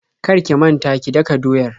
Kar ki manta ki daka doyar.